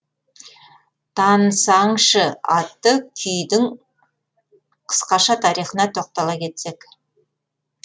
тансаңшы атты күйдің қысқаша тарихына тоқтала кетсек